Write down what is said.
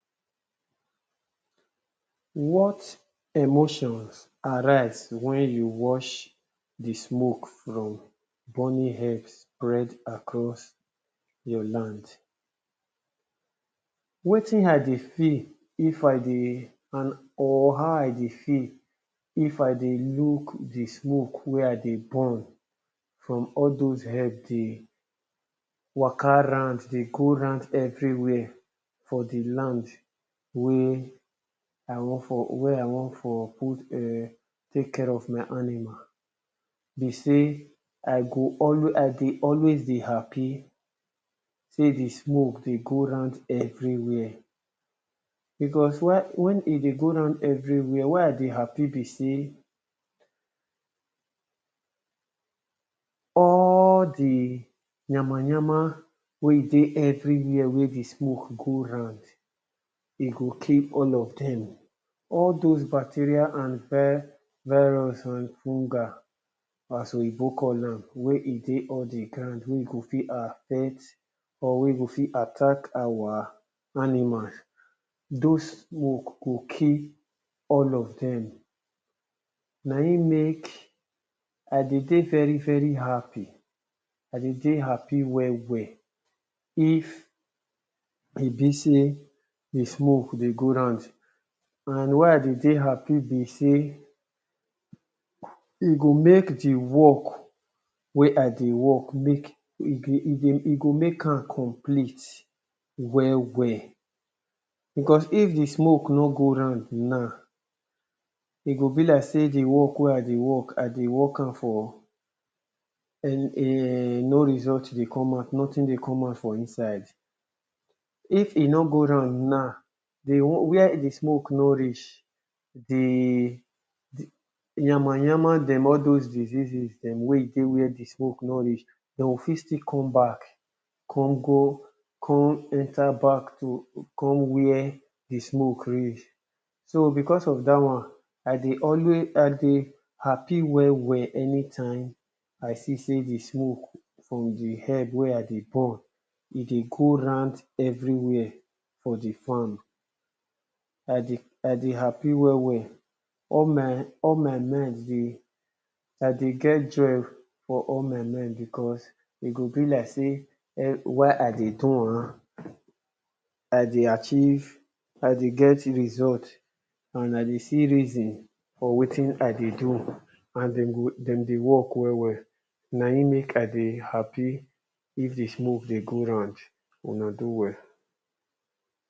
What emotions arise wen you watch di smoke from burning herb spread across your land? Wetin I dey feel if I dey on or how I dey feel if I dey look di smoke wey I dey burn from all doz herb dey waka round dey go round everywhere for di land wey I wan for wey I wan for put [urn] take care of my animal, be sey I go always I dey always dey happy sey di smoke dey go round everywhere because wen whey e dey go round everywhere why I dey happy be sey all di yama yama wey e dey everywhere wey di smoke go round e go kill all of dem, all doz bacteria and vi virus and fungi as oyibo call, wey e dey all di ground wey go fit affect or wey go fit attack all our animal. Doz smoke go kill all of dem na im make I dey dey very very happy, I dey dey happy well well if e be sey di smoke dey round and why I dey dey happy be sey e go make di work wey I dey work make, e dey e go make am complete well well, because if di smoke no go round now e go be like sey di work wey I dey work I dey work am for, any [urn] no result dey come out, nothing dey come out for inside, if e no go round now, where di smoke no reach di yama yama dem, doz disease dem wey dey where di smoke no reach dem go fit still come back, come go, come have to come where di smoke reach. So because of dat one I dey always I dey happy well well anytime I see sey di smoke from di herb wey dey burn e dey go round everywhere for di farm, I dey I dey happy well well all my, al my mind dey I dey get joy for all my mind because e go be like sey, why I dey do am, I dey achieve I dey get result and I dey see reason for wetin I dey do and dem go dem dey work well well na im make I dey happy if di smoke dey go round, una do well.